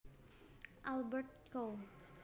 Albrecht Co